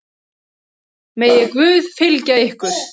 Megi Guð fylgja ykkur.